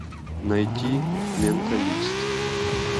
найти менталист